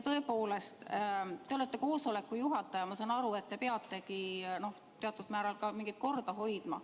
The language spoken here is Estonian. Tõepoolest, te olete koosoleku juhataja, ja ma saan aru, et te peategi teatud määral mingit korda hoidma.